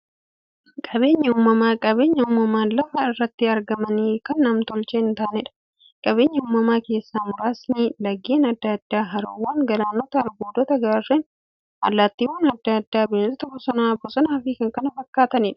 Qaabeenyi uumamaa qabeenya uumamaan lafa irratti argamanii, kan nam-tolchee hintaaneedha. Qabeenya uumamaa keessaa muraasni; laggeen adda addaa, haroowwan, galaanota, albuudota, gaarreen, allattiiwwan adda addaa, bineensota bosonaa, bosonafi kanneen kana fakkataniidha.